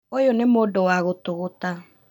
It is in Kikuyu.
ũyũ nĩ mũndũ wa gũtũgũta